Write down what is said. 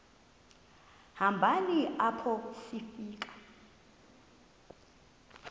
hambeni apho sifika